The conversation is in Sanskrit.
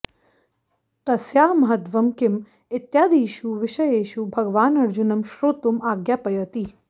तस्याः महत्त्वं किम् इत्यादिषु विषयेषु भगवान् अर्जुनं श्रोतुम् आज्ञापयति